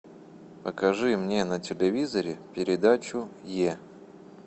покажи мне на телевизоре передачу е